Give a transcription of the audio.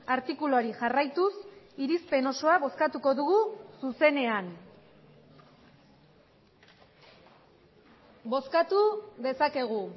artikuluari jarraituz irizpen osoa bozkatuko dugu zuzenean bozkatu dezakegu